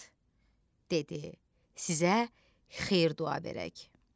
Basat dedi: Sizə xeyir-dua verək.